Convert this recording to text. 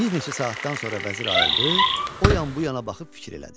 Bir neçə saatdan sonra vəzir ayıldı, o yan bu yana baxıb fikir elədi.